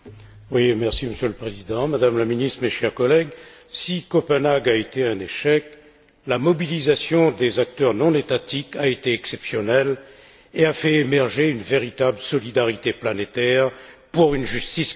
Monsieur le Président, Madame la Ministre, mes chers collègues, si Copenhague a été un échec, la mobilisation des acteurs non étatiques a été exceptionnelle et a fait émerger une véritable solidarité planétaire pour une justice climatique.